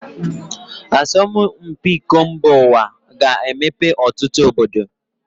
Asọmụ mpi iko mba uwa ga -emepe ọtụtụ obodo.